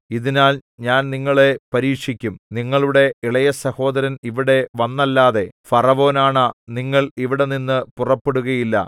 ഇതിനാൽ ഞാൻ നിങ്ങളെ പരീക്ഷിക്കും നിങ്ങളുടെ ഇളയസഹോദരൻ ഇവിടെ വന്നല്ലാതെ ഫറവോനാണ നിങ്ങൾ ഇവിടെനിന്ന് പുറപ്പെടുകയില്ല